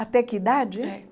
Até que idade? É